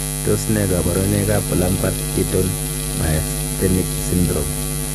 Tos nee koborunoikab Lambert Eaton myasthenic syndrome?